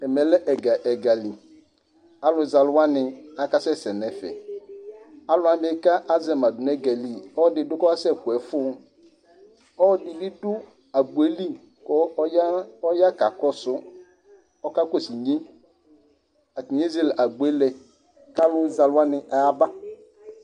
Ɛmɛlɛ ɛgali, alʋzɛalʋwani akasɛsɛ nʋ ɛfɛ, alʋwani kʋ azɛma dʋnʋ ɛga yɛli ɔlɔdi dʋ kʋ ɔkasɛkʋ ɛfʋ, ɔlɔdi bidʋ agbo yɛli kʋ ɔya ɔkakɔsʋ inye, atani ezele agbo yɛ lɛ kʋ alʋzɛalʋwani ayaba